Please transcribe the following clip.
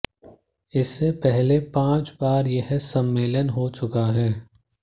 इससे पहले पांच बार यह सम्मेलन हो चुका है